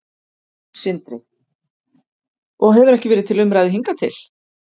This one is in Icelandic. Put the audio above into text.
Sindri: Og hefur ekki verið til umræðu hingað til?